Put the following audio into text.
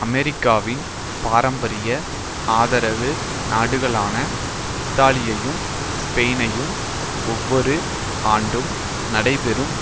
அமெரிக்காவின் பாரம்பரிய ஆதரவு நாடுகளான இத்தாலியையும் ஸ்பெயின் ஐயும் ஒவ்வொரு ஆண்டும் நடைபெறும்